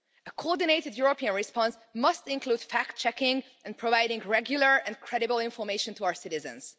A coordinated European response must include fact checking and providing regular and credible information to our citizens.